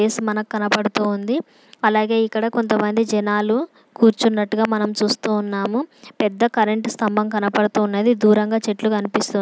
yes మనకు కనపడుతుంది అలాగే ఇక్కడ కొంత మంది జనాలు కూర్చున్నట్టుగా మనం చూస్తున్నాము పెద్ద కరెంట్ స్థంభం కనబడుతన్నది దూరంగా చెట్లు కనిపిస్తూ --